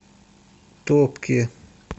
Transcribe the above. топки